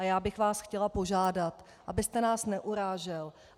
A já bych vás chtěla požádat, abyste nás neurážel.